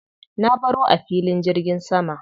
Na baro a filin jirgin sama.